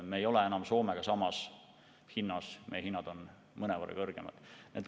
Meil ei ole enam Soomega samad hinnad, meie hinnad on mõnevõrra kõrgemad.